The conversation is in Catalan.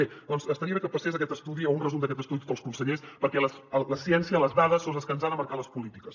bé doncs estaria bé que passés aquest estudi o un resum d’aquest estudi a tots els consellers perquè la ciència les dades són les que ens han de marcar les polítiques